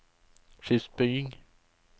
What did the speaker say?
skipsbygging